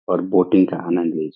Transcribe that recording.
और बोटिंग का आनंद लीज --